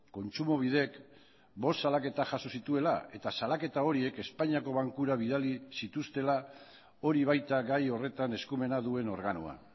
kontsumobidek bost salaketa jaso zituela eta salaketa horiek espainiako bankura bidali zituztela hori baita gai horretan eskumena duen organoa